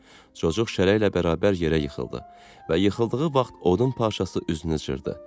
Coçuq şərəklə bərabər yerə yıxıldı və yıxıldığı vaxt odun parçası üzünü cırdı.